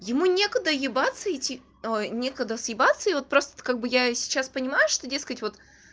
ему некуда еебаться идти никогда съебаться и вот просто как бы я сейчас понимаю что дескать вот